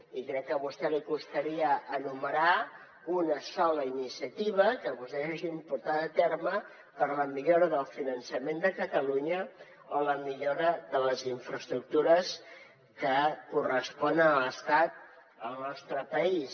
i crec que a vostè li costaria enumerar una sola iniciativa que vostès hagin portat a terme per a la millora del finançament de catalunya o la millora de les infraestructures que corresponen a l’estat al nostre país